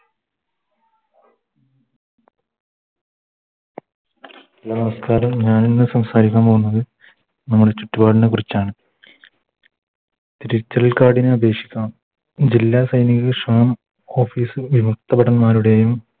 നമസ്ക്കാരം ഞാനിന്ന് സംസാരിക്കാൻ പോകുന്നത് നമ്മുടെ ചുറ്റുപാടിനെക്കുറിച്ചാണ് Digital card ന് അപേക്ഷിക്കണം ജില്ലാ സൈനിക ശ്രമം Office ൽ വിമുക്ത ഭടൻ മാരുടെയും